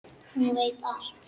Hún veit allt.